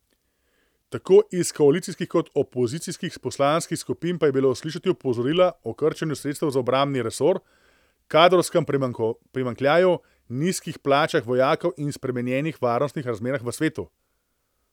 Tako iz koalicijskih kot opozicijskih poslanskih skupin pa je bilo slišati opozorila o krčenju sredstev za obrambni resor, kadrovskem primanjkljaju, nizkih plačah vojakov in spremenjenih varnostnih razmerah v svetu.